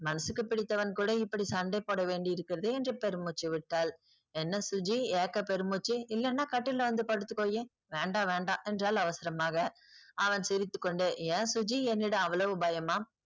மனசுக்கு பிடித்தவன் கூட இப்படி சண்டை போடவேண்டி இருக்குறதே என்று பெரும் மூச்சு விட்டால் என்ன சுஜி ஏக்க பெருமூச்சு இல்லான்னா கட்டில்ல வந்து படுத்துக்கோயேன் வேண்டாம் வேண்டாம் என்றால் அவசரமாக அவன் சிரித்துக்கொண்டே ஏன் சுஜி என்னிடம் அவ்வளவு பயமா